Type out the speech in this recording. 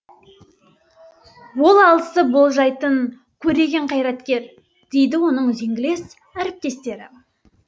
ол алысты болжайтын көреген қайраткер дейді оның үзеңгілес әріптестері